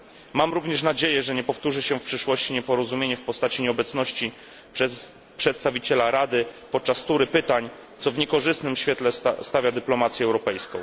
Mam również nadzieję, że nie powtórzy się w przyszłości nieporozumienie w postaci nieobecności przedstawiciela Rady podczas tury pytań, co w niekorzystnym świetle stawia dyplomację europejską.